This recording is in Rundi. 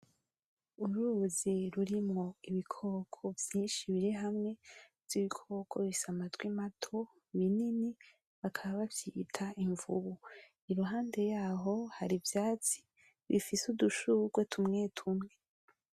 Uruzi rurimwo ibikoko vyinshi biri hamwe ivyo bikoko bifise amatwi mato binini bakaba bavyita imvubu iruhande yaho hari ivyatsi bifise udushugwe tumwe tumwe .